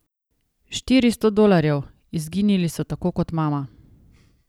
Štiristo dolarjev, izginili so tako kot mama.